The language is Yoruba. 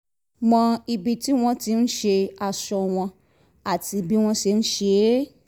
mọ ibi tí wọ́n ti ń ṣe aṣọ wọn àti bí wọ́n ṣe ń ṣe é